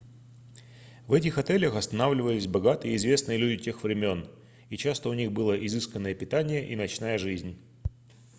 в этих отелях останавливались богатые и известные люди тех времён и часто у них было изысканное питание и ночная жизнь